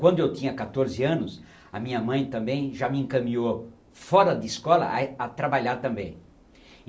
Quando eu tinha catorze anos, a minha mãe também já me encaminhou fora de escola ah eh, a trabalhar também.